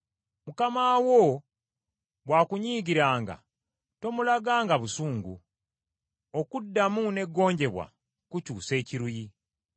Mukama wo bw’akunyiigiranga, tomulaganga busungu; okuddamu n’eggonjebwa kukyusa ekiruyi.